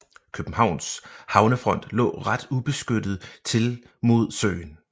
Københavns havnefront lå ret ubeskyttet til mod søen